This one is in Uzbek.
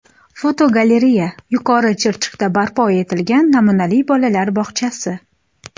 Fotogalereya: Yuqori Chirchiqda barpo etilgan namunali bolalar bog‘chasi.